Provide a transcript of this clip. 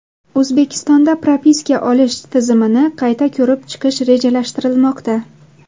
O‘zbekistonda propiska olish tizimini qayta ko‘rib chiqish rejalashtirilmoqda.